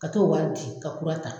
Ka t'o wari di ka kura ta.